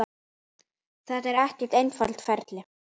Þetta er ekki einfalt ferli.